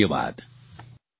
ખૂબખૂબ ધન્યવાદ